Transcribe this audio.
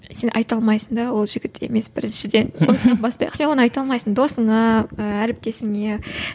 сен айта алмайсың да ол жігіт емес біріншіден осыдан бастайықшы сен оны айта алмайсың досыңа ііі әріптесіңе